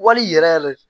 Wali yɛrɛ yɛrɛ